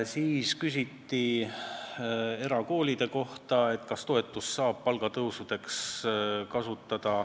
Siis küsiti erakoolide kohta, kas toetust saab kasutada palgatõusuks.